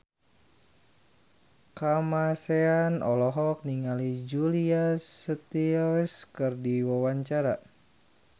Kamasean olohok ningali Julia Stiles keur diwawancara